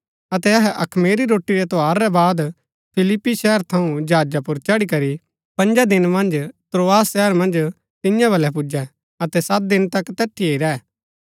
अतै अहै अखमीरी रोटी रै त्यौहार रै बाद फिलिप्पी शहर थऊँ जहाजा पुर चढ़ी करी पँजा दिन मन्ज त्रोआस शहर मन्ज तियां बलै पुजै अतै सत दिन तक तैठिये ही रैह